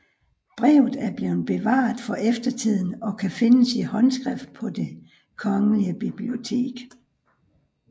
Brevet er blevet bevaret for eftertiden og kan findes i håndskrift på Det Kgl